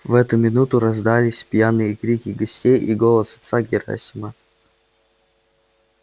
в эту минуту раздались пьяные крики гостей и голос отца герасима